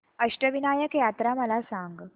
अष्टविनायक यात्रा मला सांग